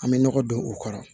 An bɛ nɔgɔ don u kɔrɔ